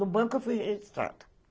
No banco eu fui registrada.